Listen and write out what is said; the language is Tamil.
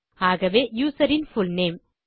ஆகவே userன் புல்நேம்